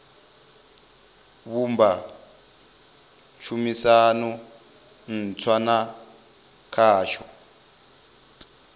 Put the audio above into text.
vhumba tshumisano ntswa na khasho